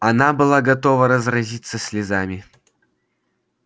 она была готова разразиться слезами